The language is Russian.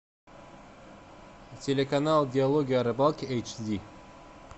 телеканал диалоги о рыбалке эйч ди